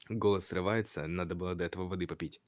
голос срывается надо было до этого воды попить